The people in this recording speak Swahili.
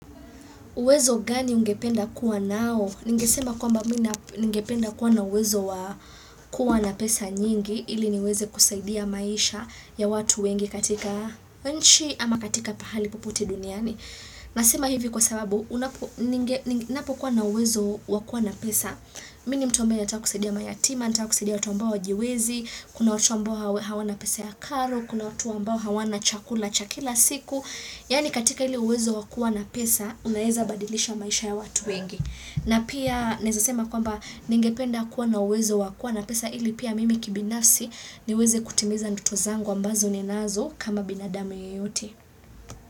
Uwezo gani ungependa kuwa nao? Ningesema kwamba mimi na ningependa kuwa na uwezo wa kuwa na pesa nyingi. Ili niweze kusaidia maisha ya watu wengi katika nchi ama katika pahali popote duniani. Nasema hivi kwa sababu, unapokuwa na uwezo wa kuwa na pesa. Mimi ni mtu ambaye nataka kusaidia mayatima, nataka kusaidia watu ambao hawajiwezi. Kuna watoto ambao hawana pesa ya karo. Kuna watu ambao hawana chakula chakula cha kila siku. Yaani katika ile uwezo wakuwa na pesa, unaweza badilisha maisha ya watu wengi. Na pia naweza sema kwamba ningependa kuwa na uwezo wakua na pesa ili pia mimi kibinafsi niweze kutimiza ndoto zangu ambazo ninazo kama binadamu yeyote.